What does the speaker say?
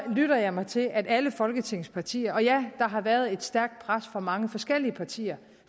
lytter jeg mig til at alle folketingets partier og ja der har været et stærkt pres fra mange forskellige partier